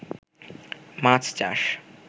মাছ চাষ